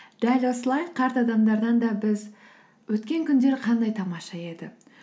дәл осылай қарт адамдардан да біз өткен күндер қандай тамаша еді